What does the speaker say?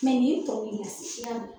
nin tɔ i y'a mɛn